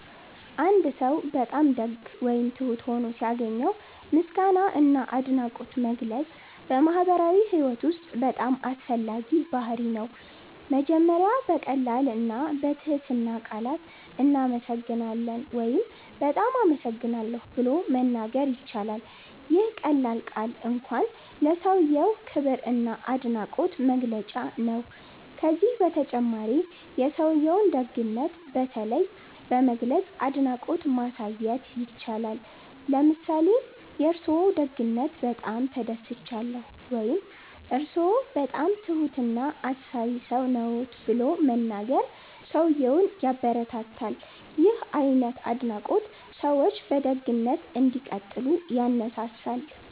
አንድ ሰው በጣም ደግ ወይም ትሁት ሆኖ ሲያገኘው ምስጋና እና አድናቆት መግለጽ በማህበራዊ ህይወት ውስጥ በጣም አስፈላጊ ባህርይ ነው። መጀመሪያ በቀላል እና በትህትና ቃላት “እናመሰግናለን” ወይም “በጣም አመሰግናለሁ” ብሎ መናገር ይቻላል። ይህ ቀላል ቃል እንኳን ለሰውዬው ክብር እና አድናቆት መግለጫ ነው። ከዚህ በተጨማሪ የሰውዬውን ደግነት በተለይ በመግለጽ አድናቆት ማሳየት ይቻላል። ለምሳሌ “የእርስዎ ደግነት በጣም ተደስቻለሁ” ወይም “እርስዎ በጣም ትሁት እና አሳቢ ሰው ነዎት” ብሎ መናገር ሰውዬውን ያበረታታል። ይህ አይነት አድናቆት ሰዎች በደግነት እንዲቀጥሉ ያነሳሳል።